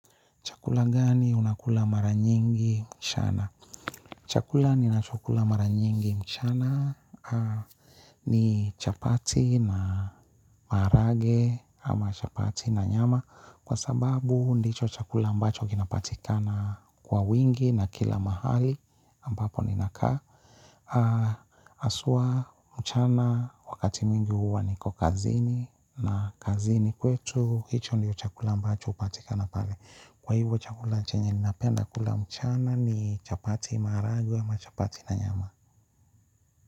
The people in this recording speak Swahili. Chakula gani unakula mara nyingi mchana? Chakula ninachokula mara nyingi mchana ni chapati na maharage ama chapati na nyama. Kwa sababu ndicho chakula ambacho kinapatikana kwa wingi na kila mahali ambapo ninakaa. Haswa, mchana, wakati mwingi huwa niko kazini na kazini kwetu, hicho ndio chakula ambacho hupatikana pale. Kwa hivo chakula chenye ninapenda kula mchana ni chapati maharagwe ama chapati na nyama.